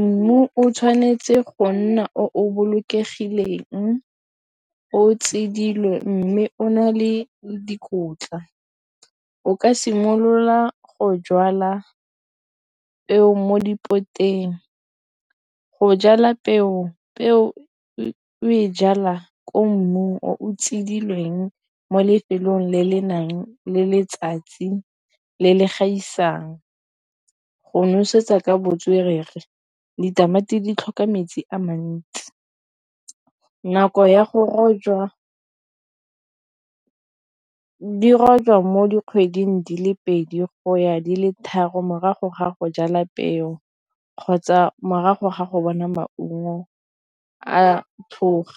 Mmu o tshwanetse go nna o bolokegileng o tseilwe mme o na le dikotla. O ka simolola go jala peo mo dipoleiteng go jala peo. Peo e o e jalwa ko mmu o tsidilweng mo lefelong le le nang le letsatsi le le gaisang. Go nosetsa ka botswerere ditamati di tlhoka metsi a mantsi nako ya go rojwa mo dikgweding di le pedi go ya di le tharo morago ga go jala peo kgotsa morago ga go bona maungo a tshoga.